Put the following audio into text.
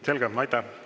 Selge, aitäh!